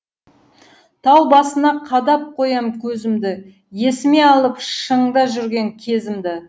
тау басына қадап қоям көзімді есіме алып шыңда жүрген кезімді